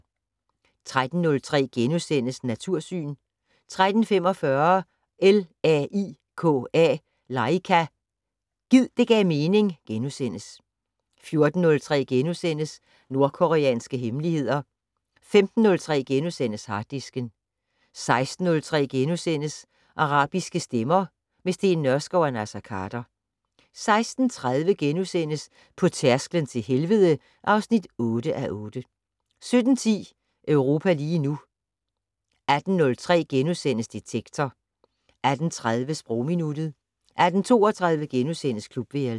13:03: Natursyn * 13:45: LAIKA - Gid det gav mening * 14:03: Nordkoreanske hemmeligheder * 15:03: Harddisken * 16:03: Arabiske stemmer - med Steen Nørskov og Naser Khader * 16:30: På tærsklen til helvede (8:8)* 17:10: Europa lige nu 18:03: Detektor * 18:30: Sprogminuttet 18:32: Klubværelset *